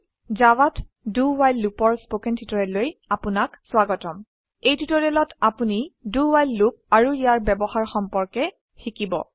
জাভাত do while Loopৰ spoken টিউটোৰিয়েললৈ আপনাক স্বাগতম এই টিউটোৰিয়েলত আপোনি do ৱ্হাইল লুপ আৰু ইয়াৰ ব্যবহাৰ সম্পৰ্কে শিকিব